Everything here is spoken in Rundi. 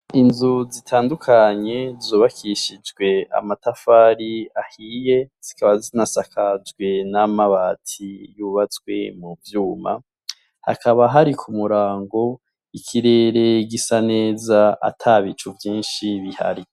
Inzu zitandukanye zubakishijew amatafari ahiye, zikaba zinasakajwe n'amabati yubatswe mu vyuma, hakaba hari k'umurango ikirere gisa neza atabicu vyinshi bihari.